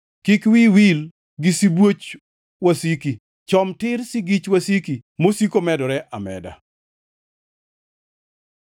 Kik wiyi wil gi sibuoch wasiki, chom tir sigich wasiki mosiko medore ameda.